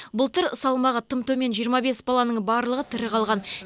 былтыр салмағы тым төмен жиырма бес баланың барлығы тірі қалған